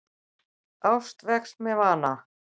Ást vex með vana.